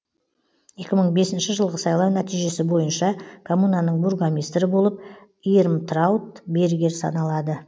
екі мың бесінші жылғы сайлау нәтижесі бойынша коммунаның бургомистрі болып ирмтрауд бергер саналады